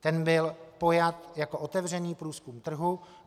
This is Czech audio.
Ten byl pojat jako otevřený průzkum trhu.